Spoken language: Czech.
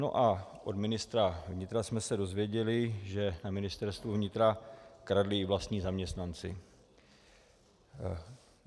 No a od ministra vnitra jsme se dozvěděli, že na Ministerstvu vnitra kradli i vlastní zaměstnanci.